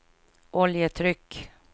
oljetryck